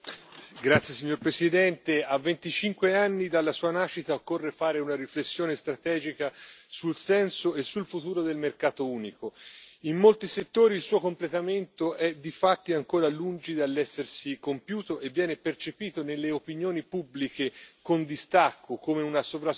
Signora Presidente, onorevoli colleghi, a 25 anni dalla sua nascita, occorre fare una riflessione strategica sul senso e sul futuro del mercato unico. In molti settori il suo completamento è difatti ancora lungi dall'essersi compiuto e viene percepito nelle opinioni pubbliche con distacco, come una sovrastruttura